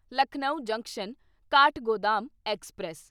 Lucknow junction Kathgodam express